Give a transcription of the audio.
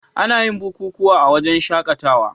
Anayin bukukuwa a wajan shakatawa